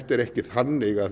er ekki þannig að